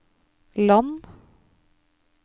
land